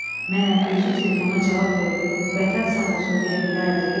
Məyər özü telefona cavab verib vətən sağ olsun deyə bilərdi?